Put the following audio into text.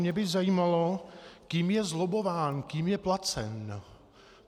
Mě by zajímalo, kým je zlobbován, kým je placen.